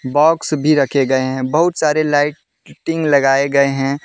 Box भी रखे गए हैं बहुत सारे लाइटिंग लगाए गए हैं।